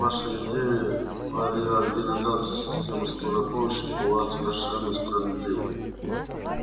ваша идея о реорганизации системы скорой помощи была совершенно справедлива